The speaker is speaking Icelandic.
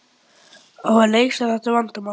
Á að leysa þetta vandamál?